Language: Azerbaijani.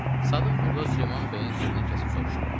Sadıq burda Süleyman bəyin sözünü kəsib soruşdu: